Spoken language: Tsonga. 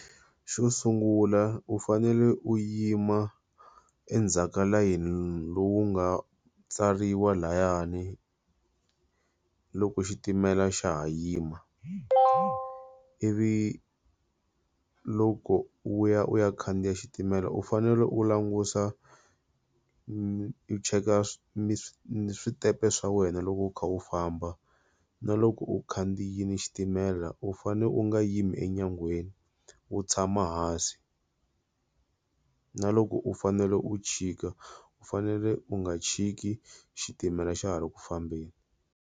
Xo sungula u fanele u yima endzhaka ka layeni lowu nga tsariwa layani loko xitimela xa ha yima. Ivi loko u ya u ya khandziya xitimela u fanele u langusa u cheka switempe swa wena loko u kha u famba. Na loko u khandziyile xitimela u fane u nga yima enyangweni u tshama hansi. Na loko u fanele u chika u fanele u nga chiki xitimela xa ha ri ku fambeni.